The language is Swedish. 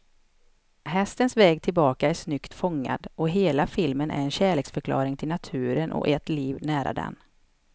Hästens väg tillbaka är snyggt fångad, och hela filmen är en kärleksförklaring till naturen och ett liv nära den.